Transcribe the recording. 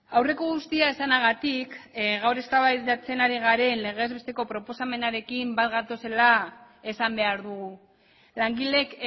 aurreko guztia esanagatik gaur eztabaidatzen hari garen legez besteko proposamenarekin bat gatozela esan behar dugu langileek